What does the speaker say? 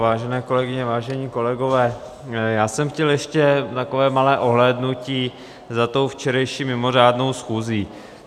Vážené kolegyně, vážení kolegové, já jsem chtěl ještě takové malé ohlédnutí za tou včerejší mimořádnou schůzí.